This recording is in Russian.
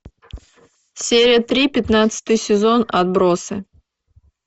серия три пятнадцатый сезон отбросы